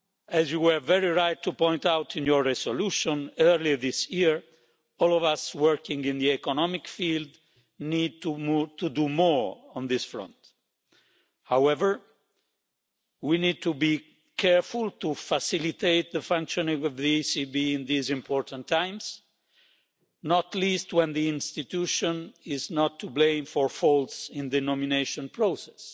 As you were very right to point out in your resolution earlier this year, all of us working in the economic field need to move to do more on this front. However, we need to be careful to facilitate the functioning of the ECB in these important times, not least when the institution is not to blame for faults in the nomination process.